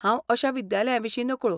हांव अश्या विद्यालयांविशीं नकळो.